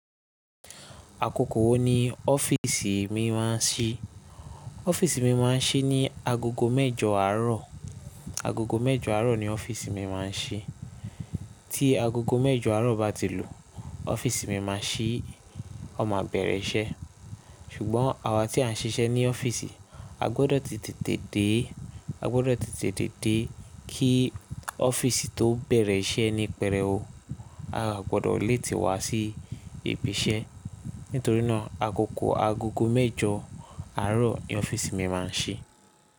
Àkókò wo ni ọ́fíìsì mi máa ń ṣí? Ọ́fíìsì mi máa ń ṣí ní agogo mẹ́jọ àárọ̀. Agogo mẹ́jọ àárọ̀ ni ọ́fíìsì mi máa ń ṣí. Tí agogo mẹ́jọ àárọ̀ bá ti lù, ọ́fíìsì mi máa ṣí, a máa bẹ̀rẹ̀ iṣẹ́. Ṣùgbọ́n àwa tí à ń ṣiṣẹ́ ní ọ́fíìsì, a gbọdọ̀ ti tètè dé, a gbọdọ̀ ti tètè dé kí ọ́fíìsì tó bẹ̀rẹ̀ iṣẹ́ ní pẹrẹwu. A à gbọdọ̀ léetì wá sí ibi iṣẹ́ nítorí náà agogo mẹ́jọ àárọ̀ ni ọ́fíìsì mi máa ń ṣí.